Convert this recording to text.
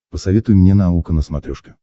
посоветуй мне наука на смотрешке